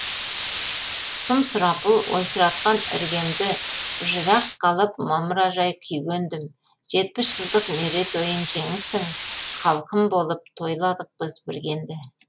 сұм сұрапыл ойсыратқан іргемді жырақ қалып мамыражай күйге ендім жетпіс жылдық мерейтойын жеңістің халқым болып тойладық біз бірге енді